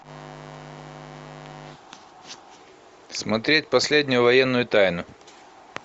смотреть последнюю военную тайну